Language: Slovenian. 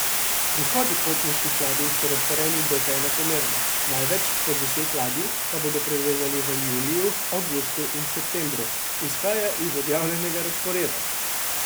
Prihodi potniških ladij so razporejeni dokaj enakomerno, največ, po deset ladij, pa bodo privezali v juliju, avgustu in septembru, izhaja iz objavljenega razporeda.